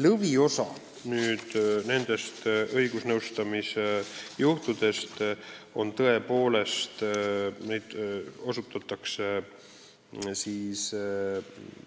Lõviosa õigusnõustamisest moodustavad